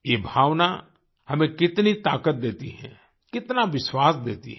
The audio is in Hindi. ये भावना हमें कितनी ताकत देती है कितना विश्वास देती है